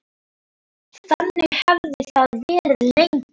Þannig hefði það verið lengi.